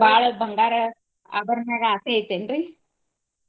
ಬಾಳ ಬಂಗಾರ ಆಭರಣಗಳ ಆಸೆ ಐತಿ ಏನ್ರೀ?